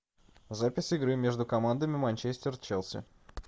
запись игры между командами манчестер челси